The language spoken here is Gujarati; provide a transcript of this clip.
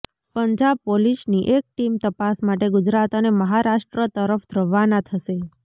પંજાબ પોલીસની એક ટીમ તપાસ માટે ગુજરાત અને મહારાષ્ટ્ર તરફ રવાના થશે